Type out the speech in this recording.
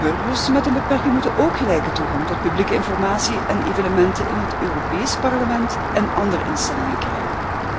Burgers met een beperking moeten ook gelijke toegang tot publieke informatie en evenementen in het Europees Parlement en andere instellingen krijgen.